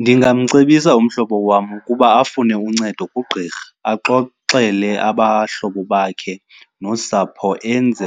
Ndingamcebisa umhlobo wam ukuba afune uncedo kugqirha, axoxele abahlobo bakhe nosapho enze